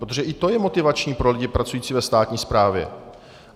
Protože i to je motivační pro lidi pracující ve státní správě.